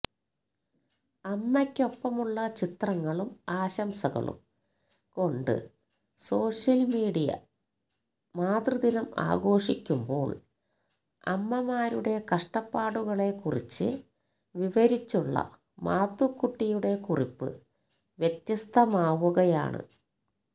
അമ്മയ്ക്കൊപ്പമുള്ള ചിത്രങ്ങളും ആശംസകളും കൊണ്ട് സോഷ്യല് മീഡിയ മാതൃദിനം ആഘോഷിക്കുമ്പോള് അമ്മമാരുടെ കഷ്ടപ്പാടുകളെക്കുറിച്ച് വിവരിച്ചുള്ള മാത്തുക്കുട്ടിയുടെ കുറിപ്പ് വ്യത്യസ്തമാവുകയാണ്